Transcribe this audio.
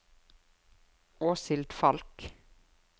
Åshild Falch